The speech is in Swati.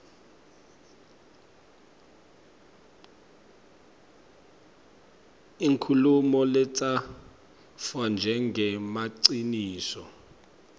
inkhulumo letsatfwa njengemaciniso